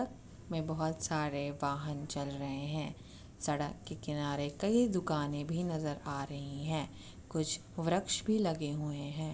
अ में बहोत सारे वाहन चल रहें हैं। सड़क के किनारे कई दुकानें भी नजर आ रही हैं। कुछ वृक्ष भी लगे हुए हैं।